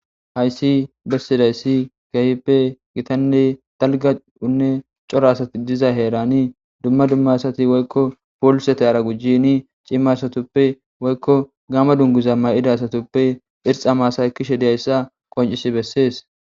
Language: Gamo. hayssi bessiday ssi gahippe gitanne dalga unne cora asati diza heerani dumma dumma asati woykko poolisete ara gujjini cimma asatuppe woykko gama dunguza ma7ida asatuppe irxa maasaykishe diyayssa qoncisi bessees